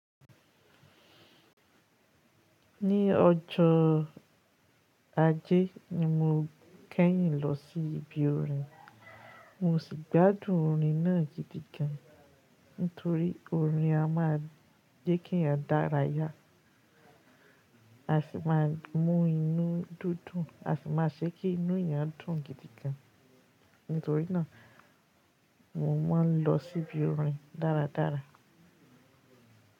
Ní ọjọ́ ajẹ́ ni mo kẹ́yìn lọ sí ibi orin, mo sì gbádùn orin náà gidi gan. Nítorí orin a má jẹ́ kí èyàn dára yá, a sì má a mú inú dídùn, a sì má a ṣe kí inú èèyàn dùn gidi gan. Nítorínà mo ma n lọ síbi orin dáradára.